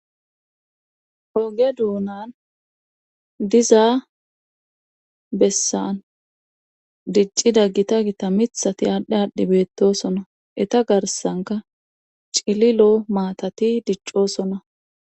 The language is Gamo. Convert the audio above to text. oge duunan dizaa bessan diccida gita gita mithati aadhdhe aadhdhi beettosona eta garsanka cili loo maatati diccoosona